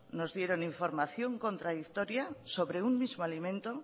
nos dieron información contradictoria sobre un mismo alimento